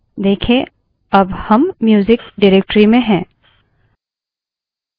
देखें अब हम music directory में हैं